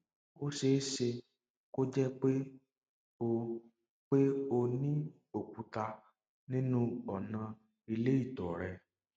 ó ṣe é ṣe kó jẹ pé o pé o ní òkúta nínú ọnà ilé ìtọ rẹ